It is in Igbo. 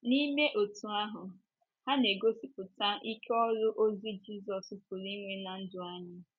N’ime otú ahụ, ha na - egosipụta ike ọrụ ozi Jizọs pụrụ inwe ná ndụ anyị.